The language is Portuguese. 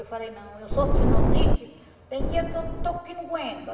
Eu falei, não, eu sou sinusite, tem dia que eu estou que não aguento.